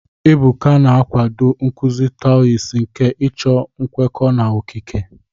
Ebuka na-akwado nkuzi Taoist nke ịchọ nkwekọ na okike.